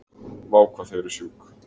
Vá hvað þið eruð sjúk